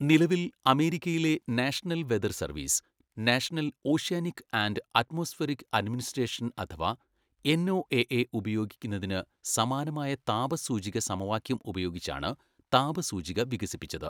നിലവിൽ, അമേരിക്കയിലെ national weather service, national oceanic and atmospheric administration അഥവാ എൻഒഎഎ ഉപയോഗിക്കുന്നതിന് സമാനമായ താപ സൂചിക സമവാക്യം ഉപയോഗിച്ചാണ് താപ സൂചിക വികസിപ്പിച്ചത്.